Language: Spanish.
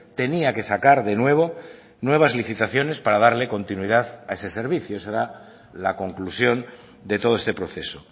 tenía que sacar de nuevo nuevas licitaciones para darle continuidad a ese servicio ese será la conclusión de todo este proceso